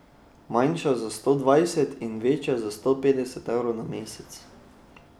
Manjša za sto dvajset in večja za sto petdeset evrov na mesec.